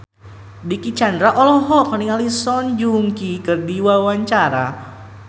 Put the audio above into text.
Dicky Chandra olohok ningali Song Joong Ki keur diwawancara